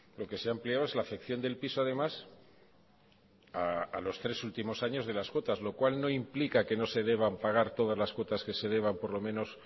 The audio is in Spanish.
lo que se ha ampliado es la afección del piso además a los tres últimos años de las cuotas lo cual no implica que no se deban pagar todas las cuotas que se deban por lo menos